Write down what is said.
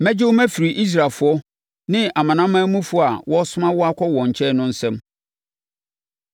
Mɛgye wo mafiri Israelfoɔ ne amanamanmufoɔ a wɔresoma wo akɔ wɔn nkyɛn no nsam.